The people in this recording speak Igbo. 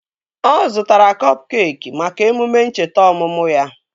Ọ zụtara kọp keekị maka emume ncheta ọmụmụ ya